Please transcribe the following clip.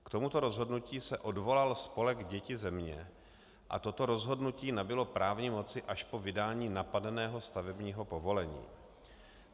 K tomuto rozhodnutí se odvolal spolek Děti země a toto rozhodnutí nabylo právní moci až po vydání napadeného stavebního povolení.